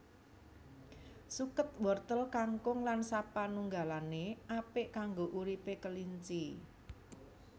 Suket wortel kangkung lan sapanunggalané apik kanggo uripé kelinci